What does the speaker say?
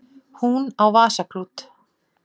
Hún á vasaklút.